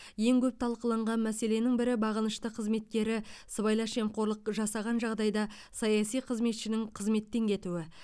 ең көп талқыланған мәселенің бірі бағынышты қызметкері сыбайлас жемқорлық жасаған жағдайда саяси қызметшінің қызметтен кетуі